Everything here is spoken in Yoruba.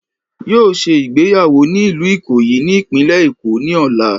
Yóò se ìgbéyàwó ni ìlú Ìkòyí ní ìpínlẹ̀ Èkó ní ọ̀la